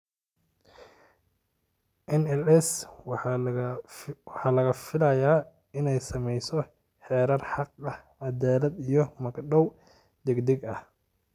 NLC waxa laga filayaa inay samayso xeerar xaq, cadaalad iyo magdhow degdeg ah.